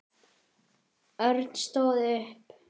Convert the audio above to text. Örn stóð upp.